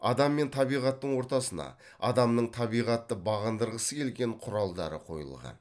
адам мен табиғаттың ортасына адамның табиғатты бағындырғысы келген құралдары қойылған